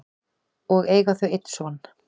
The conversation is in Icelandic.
og eiga þau einn son.